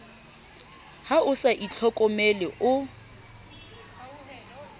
ha o sa itlhokomele o